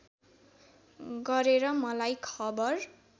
गरेर मलाई खबर